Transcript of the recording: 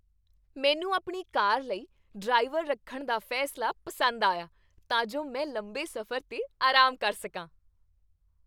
ਮੈਨੂੰ ਆਪਣੀ ਕਾਰ ਲਈ ਡਰਾਈਵਰ ਰੱਖਣ ਦਾ ਫੈਸਲਾ ਪਸੰਦ ਆਇਆ ਤਾਂ ਜੋ ਮੈਂ ਲੰਬੇ ਸਫ਼ਰ 'ਤੇ ਆਰਾਮ ਕਰ ਸਕਾਂ।